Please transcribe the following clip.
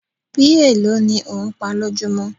Bí èlò ní ò ń pá lójumo?